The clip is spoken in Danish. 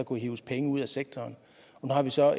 kunne hives penge ud af sektoren nu har vi så